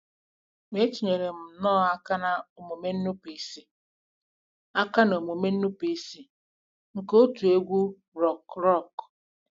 Ma etinyere m nnọọ aka n'omume nnupụisi aka n'omume nnupụisi nke òtù egwú rock rock.